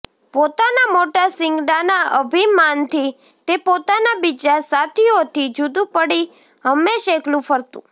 પોતાના મોટા શીંગડાના અભિમાનથી તે પોતાના બીજાં સાથીઓથી જુદું પડી હંમેશ એકલું ફરતું